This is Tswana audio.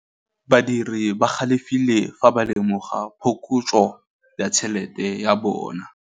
Badiri ba galefile fa ba lemoga phokotsô ya tšhelête ya bone.